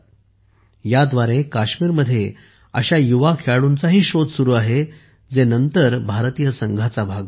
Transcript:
याद्वारे काश्मीरमध्ये अशा युवा खेळाडूंचाही शोध सुरू आहे जे नंतर टीम इंडियाचा भारतीय संघाचा भाग बनतील